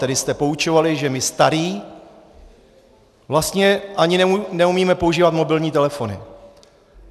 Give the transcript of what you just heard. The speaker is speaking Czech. Tady jste poučovali, že my starý vlastně ani neumíme používat mobilní telefony.